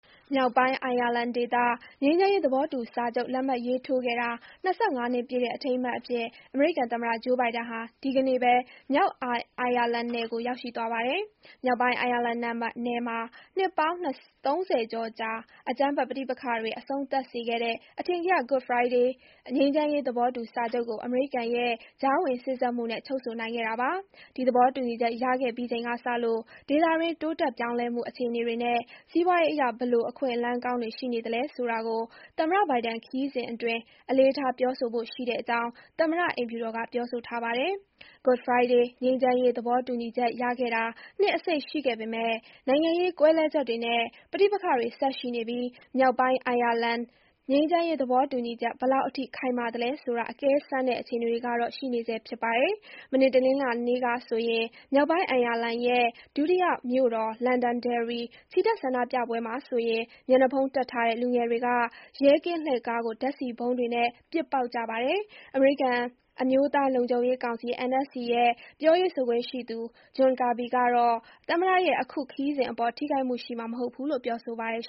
မြောက်ပိုင်း အိုင်ယာလန်ဒေသ ငြိမ်းချမ်းရေး သဘောတူစာချုပ် လက်မှတ်ရေးထိုးခဲ့တာ ၂၅ နှစ်ပြည့်တဲ့ အထိမ်းအမှတ်အဖြစ် အမေရိကန်သမ္မတ ဂျိုးဘိုင်ဒန်ဟာ ဒီကနေ့ပဲ မြောက်အိုင်ယာလန်နယ်ကို ရောက်ရှိသွားပါတယ်။ မြောက်ပိုင်း အိုင်ယာလန်နယ်မှာ နှစ်ပေါင်း ၃၀ ကျော်ကြား အကြမ်းဖက် ပဋိပက္ခတွေ အဆုံးသတ်စေခဲ့တဲ့ အထင်ကရ Good Friday ငြိမ်းချမ်းရေး သဘောတူစာချုပ်ကို အမေရိကန်ရဲ့ ကြားဝင်စေ့စပ်မှုနဲ့ ချုပ်ဆိုနိုင်ခဲ့တာပါ။ ဒီသဘောတူညီချက် ရခဲ့ပြီးချိန်ကစလို့ ဒေသတွင်း တိုးတက်ပြောင်းလဲမှု အခြေအနေတွေနဲ့ စီးပွားရေးအရ ဘယ်လို အခွင့်အလမ်းကောင်းတွေ ရှိနေသလဲ ဆိုတာကို သမ္မတဘိုင်ဒန်ခရီးစဉ်အတွင်း အလေးထား ပြောဆိုဖို့ရှိတဲ့ အကြောင်း သမ္မတ အိမ်ဖြူတော်က ပြောဆိုထားပါတယ်။ Good Friday ငြိမ်းချမ်းရေး သဘောတူညီချက်ရခဲ့တာ နှစ်အစိတ်ရှိခဲ့ပေမဲ့ နိုင်ငံရေးကွဲလွဲချက်တွေနဲ့ ပဋိပက္ခတွေ ဆက်ရှိနေပြီး မြောက်ပိုင်း အိုင်ယာလန် ငြိမ်းချမ်းရေးသဘောတူညီချက် ဘယ်လောက်အထိ ခိုင်မာသလဲဆိုတာ အကဲစမ်းတဲ့ အခြေအနေတွေကတော့ ရှိနေဆဲ ဖြစ်ပါတယ်။ မနေ့တနင်္လာနေ့က မြောက်ပိုင်း အိုင်ယာလန်ရဲ့ ဒုတိယမြို့တော် Londonderry ချီတက်ဆန္ဒပြပွဲမှာဆိုရင် မျက်နှာဖုံးတပ်ထားတဲ့ လူငယ်တွေက ရဲကင်းလှည့်ကားကို ဓါတ်ဆီဗုံးတွေနဲ့ ပစ်ပေါက်ကြပါတယ်။ အမေရိကန် အမျိုးသားလုံခြုံရေးကောင်စီ NSC ရဲ့ ပြောရေးဆိုခွင့်ရှိသူ ဂျွန်ကာဘီ (John Kirby) ကတော့ သမ္မတရဲ့ အခု ခရီးစဉ်အပေါ် ထိခိုက်မှုရှိမှာ မဟုတ်ဘူးလို့ ပြောဆိုပါတယ်